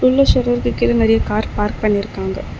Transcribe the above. உள்ள ஷட்டருக்கு கீழ நிறைய கார் பார்க் பண்ணிருக்காங்க.